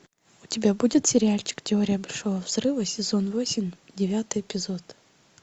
у тебя будет сериальчик теория большого взрыва сезон восемь девятый эпизод